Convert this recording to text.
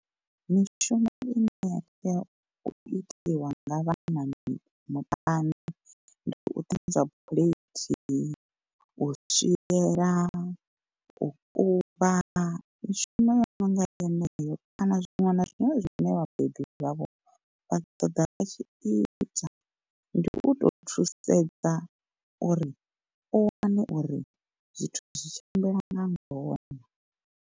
Mishumo ine ya tea u itiwa nga vhana muṱani ndi u ṱanzwa phulethi, u swiela, u kuvha mishumo yo no nga yeneyo kana zwiṅwe na zwiṅwe zwine vhabebi vhavho vha ṱoḓa vha tshi ita. Ndi u to thusedza uri u wane uri zwithu zwi tshimbila nga ngona.